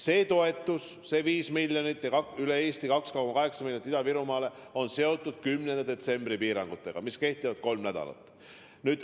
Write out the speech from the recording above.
See toetus, see 5 miljonit üle Eesti ja 2,8 miljonit Ida-Virumaale on seotud 10. detsembri piirangutega, mis kehtivad kolm nädalat.